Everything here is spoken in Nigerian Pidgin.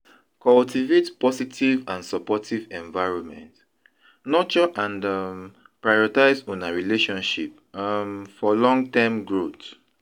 Cultivate positive and supportive environment; nurture and um prioritize una relationship um for long-term growth.